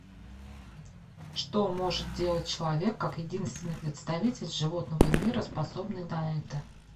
что может делать человек как единственный представитель животного мира способный на это